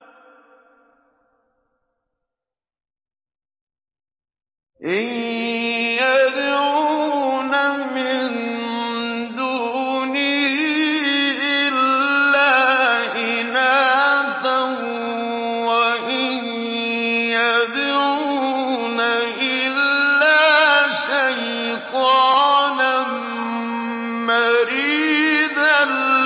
إِن يَدْعُونَ مِن دُونِهِ إِلَّا إِنَاثًا وَإِن يَدْعُونَ إِلَّا شَيْطَانًا مَّرِيدًا